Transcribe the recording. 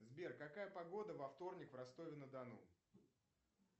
сбер какая погода во вторник в ростове на дону